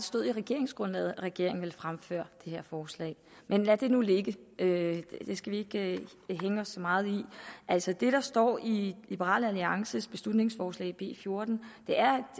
stod i regeringsgrundlaget at regeringen vil fremsætte det her forslag men lad det nu ligge det skal vi ikke hænge os så meget i altså det der står i liberal alliances beslutningsforslag b fjorten er